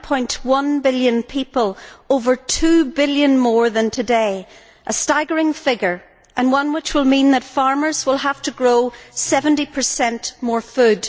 9.1 billion people, over two billion more than today a staggering figure and one which will mean that farmers will have to grow 70 more food.